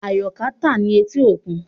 Ayoka ta ni eti okun